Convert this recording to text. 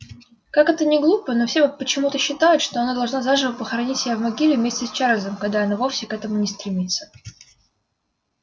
как это ни глупо но всё почему-то считают что она должна заживо похоронить себя в могиле вместе с чарльзом когда она вовсе к этому не стремится